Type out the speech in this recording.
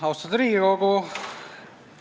Austatud Riigikogu!